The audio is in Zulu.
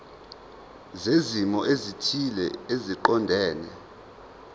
zezimo ezithile eziqondene